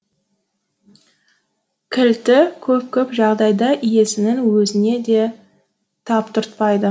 кілті көп көп жағдайда иесінің өзіне де таптыртпайды